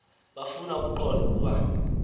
bafuna ukuqonda ukuba